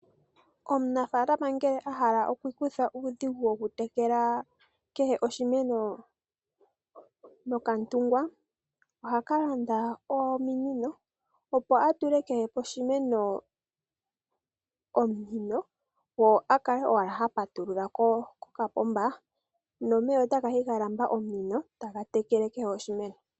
Omunafalama ngele a hala okwiikutha uudhigu wokutekela kehe oshimeno nokantungwa oha ka landa ominino opo a tule kohe poshimeno omunino ye a kale owala ha patulula kokapomba nomeya ota gayi ga lamba omunino taga tekele kehe oshimeno.